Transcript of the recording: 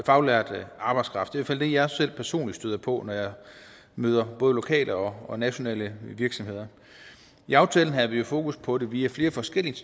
faglært arbejdskraft i hvert fald det jeg selv personligt støder på når jeg møder både lokale og nationale virksomheder i aftalen havde vi jo fokus på det via flere forskellige